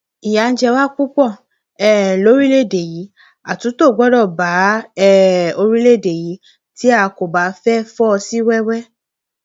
ìyà ń jẹ wá púpọ um lórílẹèdè yìí àtúntò gbọdọ bá um orílẹèdè yìí tí a kò bá fẹẹ fọ sí wẹwẹ